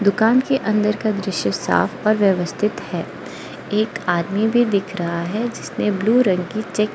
दुकान के अंदर का दृश्य साफ और व्यवस्थित है एक आदमी भी दिख रहा है जिसने ब्लू रंग की चेक --